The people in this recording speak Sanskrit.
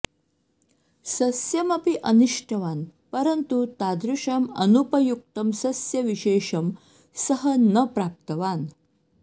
सस्यमपि अन्विष्टवान् परन्तु तादृशम् अनुपयुक्तं सस्यविशेषं सः न प्राप्तवान्